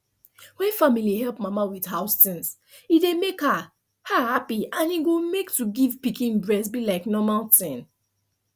when family help mama with house things e dey make her her happy and e go make to give pikin breast be like normal tin